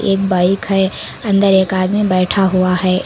एक बाइक है अंदर एक आदमी बैठा हुआ है।